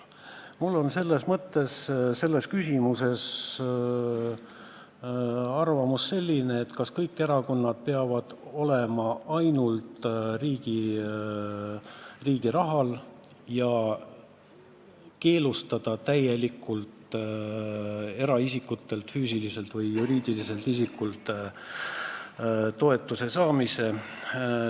Mul on oma arvamus küsimuses, kas kõik erakonnad peaksid tegutsema ainult riigi raha toel ja tuleks täielikult keelustada eraisikutelt, füüsilistelt või juriidilistelt isikutelt toetuse saamine.